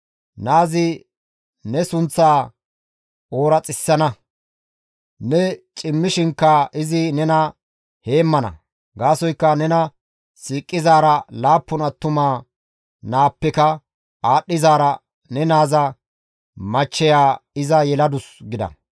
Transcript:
Naazi ne sunththaa ooraxissana! Ne cimmishinkka izi nena heemmana; gaasoykka nena siiqizaara laappun attuma naappeka aadhdhizaara ne naaza machcheya iza yeladus» gida.